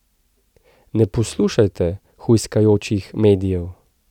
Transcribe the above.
Ne poslušajte hujskajočih medijev!